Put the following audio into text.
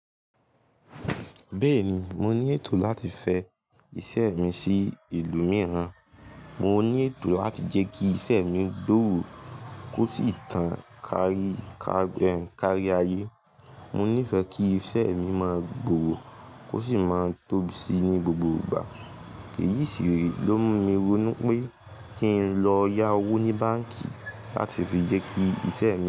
Beeni, mo nineto lati fe ise mi sii ilu miiran. Mo ní ètò láti jẹ́ kí iṣẹ́ mi gbòòrò kó sì tàn kárí ayé. Mo nífẹ̀ẹ́ kí iṣẹ́ mi máa gbòòrò kó sì máa tóbi sí i ní gbogbo ìgbà. Èyí sì re ló mú mi ronú pé kí n lọ yá owó ní báǹkì láti fi jẹ́ kí iṣẹ́ mi.